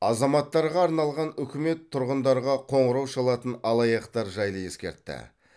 азаматтарға арналған үкімет тұрғындарға қоңырау шалатын алаяқтар жайлы ескертті